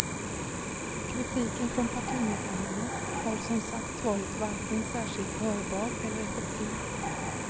Kritiken från partimedlemmarna har som sagt varit varken särskilt hörbar eller effektiv.